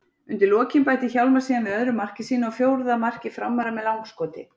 Undir lokin bætti Hjálmar síðan við öðru marki sínu og fjórða marki Framara með langskoti.